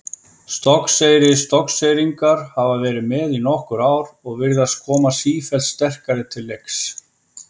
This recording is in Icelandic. Stokkseyri Stokkseyringar hafa verið með í nokkur ár og virðast koma sífellt sterkari til leiks.